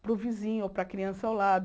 para o vizinho ou para a criança ao lado.